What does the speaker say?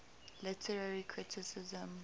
literary criticism